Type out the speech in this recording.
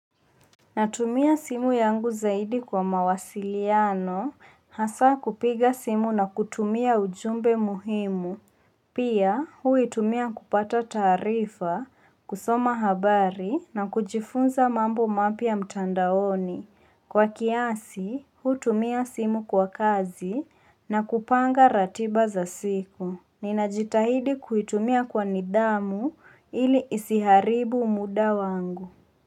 Natumia simu yangu zaidi kwa mawasiliano hasa kupiga simu na kutumia ujumbe muhimu Pia huitumia kupata taarifa kusoma habari na kujifunza mambo mapya mtandaoni Kwa kiasi hutumia simu kwa kazi na kupanga ratiba za siku Ninajitahidi kuitumia kwa nidhamu ili isiharibu muda wangu.